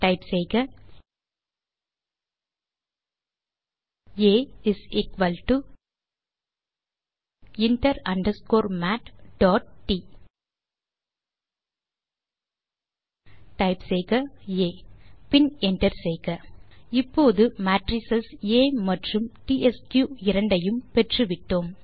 type செய்க ஆ inter underscore matட் டைப் செய்க ஆ பின் என்டர் செய்க இப்போது மேட்ரிஸ் ஆ மற்றும் டிஎஸ்கியூ இரண்டையும் பெற்றுவிட்டோம்